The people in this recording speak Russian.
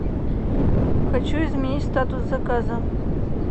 хочу изменить статус заказа